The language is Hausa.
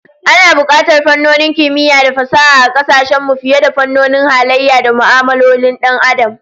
Ana bukatar fannonin kimiyya da fasaha a kasashen mu fiye da fannonin halayya da mu'amalolin Dan Adam